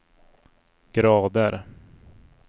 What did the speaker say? grader